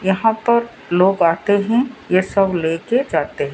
यहां पर लोग आते हैं। ये सब लेके जाते है।